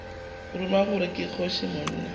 ruma gore ke kgoši monna